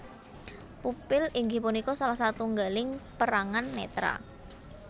Pupil inggih punika salah satunggaling perangan netra